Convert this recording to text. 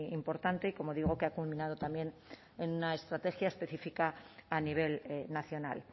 importante y como digo que ha culminado también en una estrategia específica a nivel nacional